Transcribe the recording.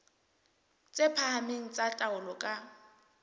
tse phahameng tsa taolo ka